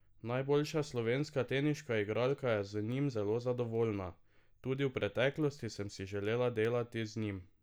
Najboljša slovenska teniška igralka je z njim zelo zadovoljna: "Tudi v preteklosti sem si želela delati z njim.